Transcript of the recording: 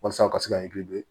Walasa u ka se ka i be